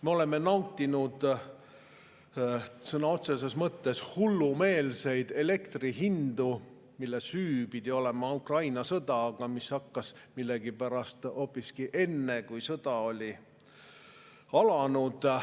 Me oleme nautinud sõna otseses mõttes hullumeelseid elektri hindu, milles pidi süüdi olema Ukraina sõda, aga millegipärast hakkas hinnatõus hoopiski enne, kui sõda oli alanud.